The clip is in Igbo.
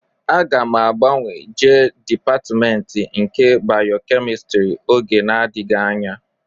Aga m agbanwe jee dịpatmentị nke bayokemịstrị oge na-adịghị anya